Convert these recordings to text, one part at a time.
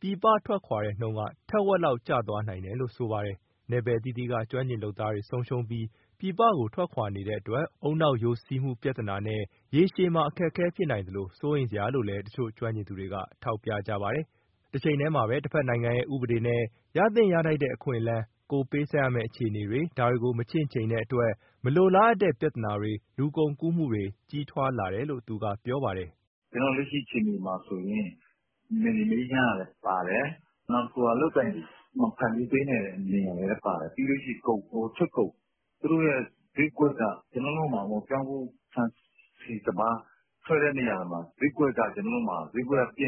ပြည်ပထွက်ခွာတဲ့နှုန်းက ထက်ဝက်လောက် ကျသွားနိုင်တယ်လို့ ပြောပါတယ်။ နယ်ပယ်အသီးသီးက ကျွမ်းကျင်လုပ်သားတွေ ဆုံးရှုံးပြီး ပြည်ပကို ထွက်ခွာနေတဲ့အတွက် ဦးနှောက်ယိုစီးမှုပြဿနာနဲ့ ရေရှည်မှာ အခက်အခဲ ဖြစ်နိုင်သလို စိုးရိမ်စရာလို့လည်း တချို့ကျွမ်းကျင်သူတွေက ထောက်ပြကြပါတယ်။ တချိန်တည်းမှာ တဖက်နိုင်ငံရဲ့ ဥပဒေနဲ့ ရသင့်ရထိုက်တဲ့ အခွင့်အလမ်း၊ ကိုယ်ပေးဆပ်ရမဲ့ အခြေအနေတွေ ဒါတွေကို မချင့်ချိန်တဲ့အတွက် မလိုလားအပ်တဲ့ ပြဿနာတွေ၊ လူကုန်ကူးမှုတွေက ကြီးထွားလာတယ်လို့ သူကပြောပါတယ်။ " လက်ရှိအခြေအနေမှာဆိုရင် နယ်မြေမအေးချမ်းတာလည်းပါတယ်၊ နောက်တခုက အလုပ်အကိုင် မဖန်တီးနိုင်တာလည်းပါတယ်။ ပြီးရင် ထွက်ကုန်၊ ဈေးကွက်က ပြောင်းဖူး၊ ဆန်၊ ဆီ၊ စပါး ထွက်တဲ့နေရာတွေမှာ ဈေးကွက်က ပျက်နေတယ်ဆိုတော့ လက်ရှိ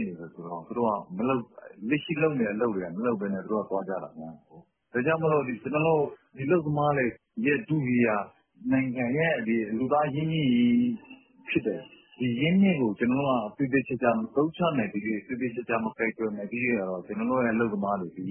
လုပ်နေတဲ့ အလုပ်တွေကို မလုပ်ဘဲနဲ့ သူတို့ကသွားကြတာ။ ဒါကြောင့်မို့ အလုပ်သမားတွေရဲ့ ထုကြီးက နိုင်ငံရဲ့ လူသားအရင်းအမြစ်ကြီး ဖြစ်တယ်၊ ဒီအရင်းအမြစ်ကို ကျနော်တို့က သေသေချာချာ မသုံးချနိုင်သမ ျှ၊ မကိုင်တွယ်နိုင်သမ ျှက ကျနော်တို့ အလုပ်သမားတွေသည်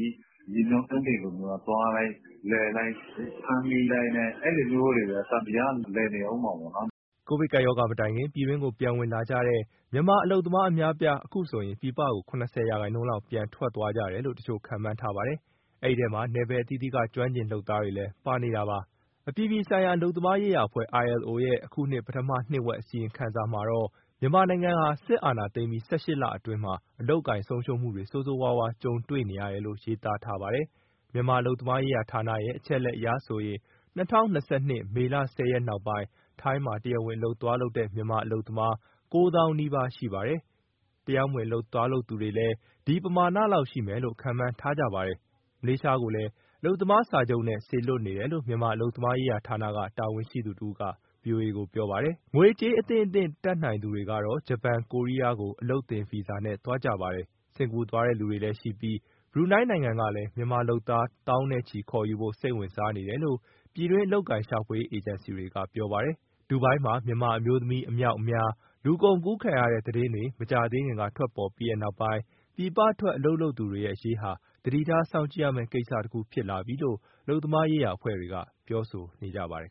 ရေမျောကမ်းတင်လို သွားလိုက်၊ လည်လိုက်၊ ဖမ်းမိလိုက် အဲလိုမျိုးတွေပဲ သံသရာက လည်နေဦးမှာပဲ ဒါက ကျနော်တို့အမြင်ကို ပြောတာပေါ့။" ကိုဗစ်ကပ်ရောဂါ မတိုင်ခင်က ပြည်တွင်းကို ပြန်ဝင်လာကြတဲ့ မြန်မာအလုပ်သမား အများအပြား အခုဆိုရင် ပြည်ပကို ၇၀ ရာခိုင်နှုန်းလောက် ပြန်ထွက်သွားတယ်လို့ တချို့ခန့်မှန်းထားပါတယ်။ အဲဒီအထဲမှာ နယ်ပယ်အသီးသီးက ကျွမ်းကျင် လုပ်သားတွေလည်း ပါနေတာပါ။ အပြည်ပြည်ဆိုင်ရာ အလုပ်သမားရေးရာအဖွဲ့ ILO ရဲ့ အခုနှစ်ပထမနှစ်ဝက် အစီရင်ခံစာမှာတော့ မြန်မာနိုင်ငံဟာ အာဏာသိမ်းပြီး ၁၈ လအတွင်းမှာ အလုပ်အကိုင် ဆုံးရှုံးမှုတွေ ဆိုးဆိုးရွားရွား ကြုံတွေ့နေရတယ်လို့ ရေးသားထားပါတယ်။ မြန်မာအလုပ်သမားရေးဌာနရဲ့ အချက်အလက်အရဆိုရင်၂၀၂၂ မေလ ၁၀ ရက်နောက်ပိုင်း ထိုင်းမှာတရားဝင် အလုပ်သွားလုပ်တဲ့ မြန်မာအလုပ်သမားက ၉ သောင်းနီးပါးရှိပါတယ်။ တရားမဝင်သွားတဲ့သူကလည်း ဒီပမာဏလောက်ရှိမယ်လို့ ခန့်မှန်းထားကြပါတယ်။ မလေးရှားကိုလည်း အလုပ်သမားစာချုပ်နဲ့ စေလွှတ်နေတယ်လို့ မြန်မာအလုပ်သမားရေးဌာနက တာဝန်ရှိသူတဦးက ဗွီအိုအေကို ပြောပါတယ်။ ငွေကြေး အသင့်အတင့် တတ်နိုင်သူတွေကတော့ ဂျပန်နဲ့ ကိုရီးယာကို အလုပ်သင်ဗီဇာနဲ့ သွားကြပါတယ်။ စင်္ကာသွားတဲ့သူတွေလည်းရှိပြီး ဘရူနိုင်းနိုင်ငံကလည်း မြန်မာလုပ်သား သောင်းနဲ့ချီပြီးခေါ်ယူဖို့ စိတ်ဝင်စားနေတယ်လို့ ပြည်တွင်း အလုပ်အကိုင်ရှာဖွေရေး အေဂျင်စီတွေကပြောပါတယ်။ ဒူဘိုင်းမှာ မြန်မာအမျိုးသမီး အမြောက်အများ လူကုန်ကူးခံရတဲ့ သတင်းတွေ မကြာသေးခင်က ထွက်ပေါ်ပြီးနောက်ပိုင်း ပြည်ပထွက် အလုပ်လုပ်သူတွေရဲ့ အရေးဟာ သတိထားစောင့်ကြည့်ရမယ့်ကိစ္စတခု ဖြစ်လာပြီလို့ အလုပ်သမားရေးရာ အဖွဲ့တွေက ပြောဆိုနေကြပါတယ်